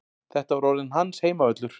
Þetta var orðinn hans heimavöllur.